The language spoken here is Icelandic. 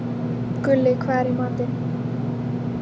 Gulli, hvað er í matinn?